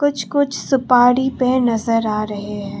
कुछ कुछ सुपारी पे नजर आ रहे हैं।